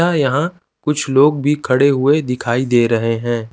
तथा यहाँ कुछ लोग भी खड़े हुए दिखाई दे रहे हैं।